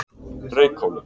Reykhóli